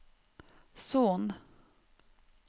Son